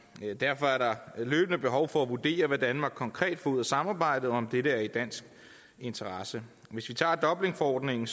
derfor er der løbende behov for at vurdere hvad danmark konkret får ud af samarbejdet og om dette er i dansk interesse hvis vi tager dublinforordningen